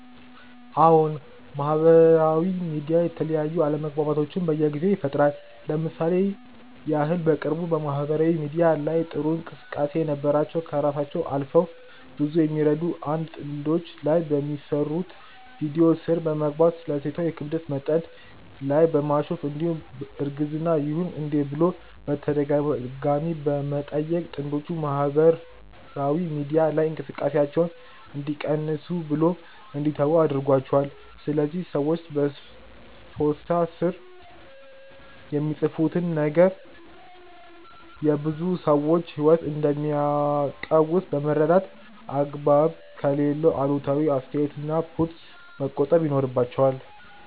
አዎን! ማህበራዊ ሚዲያ የተለያዩ አለመግባባቶችን በየጊዜው ይፈጥራል። ለምሳሌ ያህል በቅርቡ በማህበራዊ ሚዲያ ላይ ጥሩ እንቅስቃሴ የነበራቸው ከራሳቸው አልፈው ብዙዎቹ የሚረዱ 1 ጥንዶች ላይ በሚሰሩት ቪድዮ ስር በመግባት ስለ ሴቷ የክብደት መጠን ላይ በማሾፍ እንዲሁም እርግዝና ይሁን እንዴ ብሎ በተደጋጋሚ በመጠየቅ ጥንጆቹ የማህበር ሚዲያ ላይ እንቅስቃሴያቸውን እንዲቀንሱ ብሎም እንዲተዉ አድርጓቸዋል። ስለዚህም ሰዎች በፖስታ ስር የሚፃፉትን ነገር የብዙ ሰዎች ህይወት እንደሚያቀውስ በመረዳት አግባብ ከሌለው ከአሉታዊ አስተያየት እና ፖስት መቆጠብ ይኖርባቸዋል